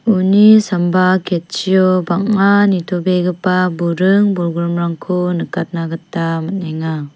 uni samba ketchio bang·a nitobegipa buring-bolgrimrangko nikatna gita man·enga.